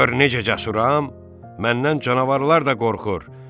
Gör necə cəsuram, məndən canavarlar da qorxur.